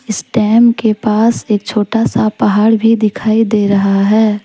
इस डैम के पास एक छोटा सा पहाड़ भी दिखाई दे रहा है।